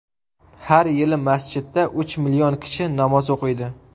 Har yili masjidda uch million kishi namoz o‘qiydi.